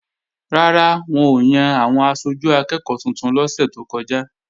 Rárá, wọn ò yan àwọn aṣojú akẹ́ẹ̀kọ́ tuntun lọ́sẹ̀ tó kọjá